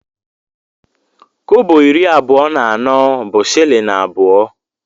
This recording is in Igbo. Kobo iri abụọ na anọ bụ shịlịn abụọ.